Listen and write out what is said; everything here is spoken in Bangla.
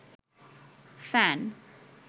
ফ্যান